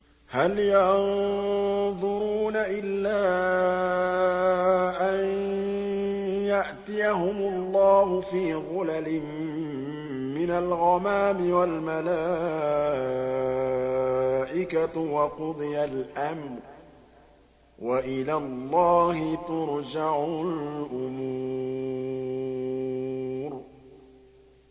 هَلْ يَنظُرُونَ إِلَّا أَن يَأْتِيَهُمُ اللَّهُ فِي ظُلَلٍ مِّنَ الْغَمَامِ وَالْمَلَائِكَةُ وَقُضِيَ الْأَمْرُ ۚ وَإِلَى اللَّهِ تُرْجَعُ الْأُمُورُ